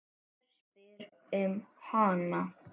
Hver spyr um hana?